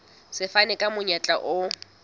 se fana ka monyetla o